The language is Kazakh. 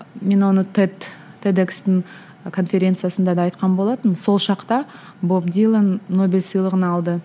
мен оны тед тедекстің конференциясында да айтқан болатынмын сол шақта боб дилан нобель сыйлығын алды